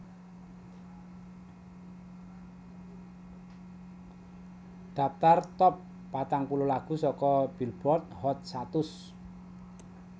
Dhaptar Top patang puluh Lagu saka Billboard Hot satus